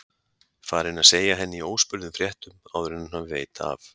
Farinn að segja henni í óspurðum fréttum áður en hann veit af að